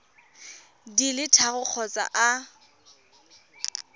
di le tharo kgotsa a